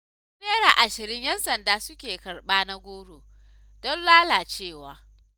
Har Naira ashirin 'yan sanda suke karɓa na-goro, don lalacewa.